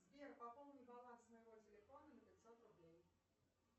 сбер пополни баланс моего телефона на пятьсот рублей